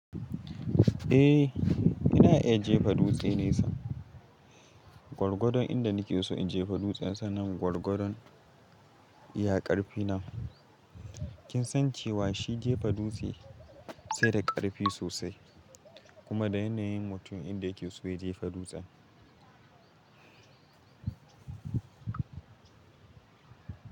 Eh, ina iya jefa dutse ne sa. Gwargwadon inda nake so in jefa dutsen sannan gwargwadon, iya ƙarfi na. Kin san cewa shi jefa dutse sai da ƙarfi sosai kuma da yana yin mutu yanda yake so ya jefa dutsen.